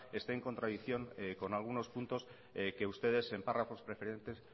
esté en contradicción con algunos puntos que ustedes en párrafos preferentes